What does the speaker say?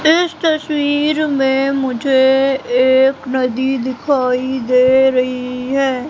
इस तस्वीर में मुझे एक नदी दिखाई दे रही है।